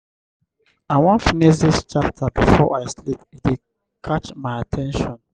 i wan finish dis chapter before i sleep e dey catch my at ten tion.